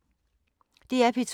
DR P2